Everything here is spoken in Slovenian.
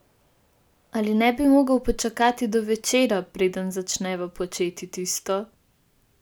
Ali ne bi mogel počakati do večera, preden začneva početi tisto?